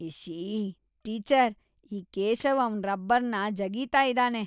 ಇಶ್ಶೀ! Teacher, ಈ ಕೇಶವ್ ಅವ್ನ್ ರಬ್ಬರ್‌ನ ಜಗೀತಾ ಇದಾನೆ.